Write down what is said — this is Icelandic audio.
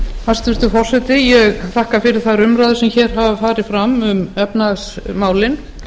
hæstvirtur forseti ég þakka fyrir þær umræður sem hér hafa farið fram um efnahagsmálin